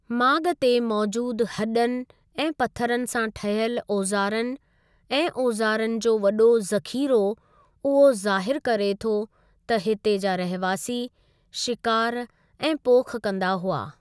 माॻु ते मौजूदु हॾन ऐं पथरनि सां ठहियल ओज़ारनि ऐं ओज़ारनि जो वॾो ज़ख़ीरो उहो ज़ाहिरु करे थो त हिते जा रहवासी शिकारु ऐं पोख कंदा हुआ।